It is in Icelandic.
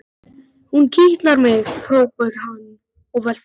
Hún kitlar mig! hrópar hann og veltist um.